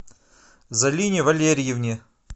залине валерьевне